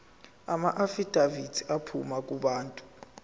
amaafidavithi aphuma kubantu